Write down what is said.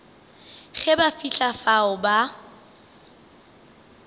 ge ba fihla fao ba